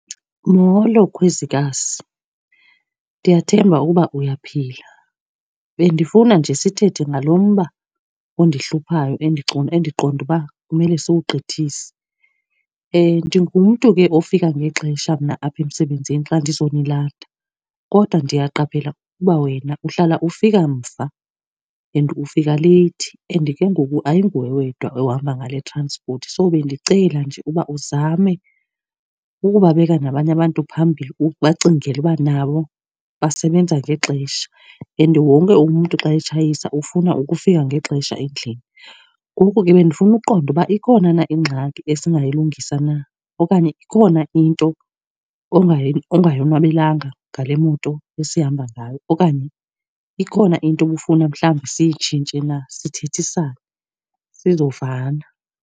Molo, Khwezikazi. Ndiyathemba ukuba uyaphila. Bendifuna nje sithethe ngalo mba ondihluphayo endiqonda uba kumele siwugqithise. Ndingumntu ke ofika ngexesha mna apha emsebenzini xa ndizonilanda, kodwa ndiyaqaphela ukuba wena uhlala ufika mva and ufika leyithi, and ke ngoku ayinguwe wedwa ohamba ngale transport. So bendicela nje uba uzame ukubabeka nabanye abantu phambili, ubacingele uba nabo basebenza ngexesha and wonke umntu xa etshayisa ufuna ukufika ngexesha endlini. Ngoku ke bendifuna uqonda uba ikhona na ingxaki esingayilungisa na, okanye ikhona into ungayonwabelanga ngale moto esihamba ngayo. Okanye ikhona into obufuna mhlawumbi siyitshintshe na, sithethisane sizovana.